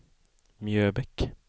Mjöbäck